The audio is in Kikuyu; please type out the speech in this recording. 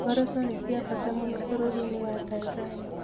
Ngoroco nĩ cia bata mũno bũrũri-inĩ wa Tanzania.